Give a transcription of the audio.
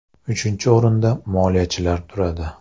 Uchinchi o‘rinda moliyachilar turadi.